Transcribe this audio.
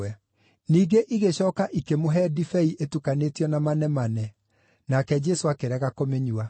Ningĩ igĩcooka ikĩmũhe ndibei ĩtukanĩtio na manemane, nake Jesũ akĩrega kũmĩnyua.